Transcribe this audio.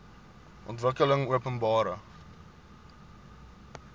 ontwikkelingopenbare